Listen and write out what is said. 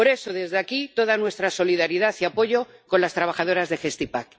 Por eso, desde aquí, toda nuestra solidaridad y apoyo con las trabajadoras de Gestipack.